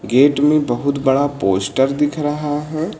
Gate में बहुत बड़ा पोस्टर दिख रहा है।